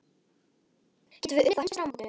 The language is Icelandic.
Getum við unnið þá á Heimsmeistaramótinu?